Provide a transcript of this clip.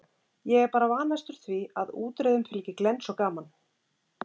Ég er bara vanastur því að útreiðum fylgi glens og gaman.